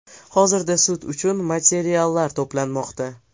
Hozirda sud uchun materiallar to‘planmoqda.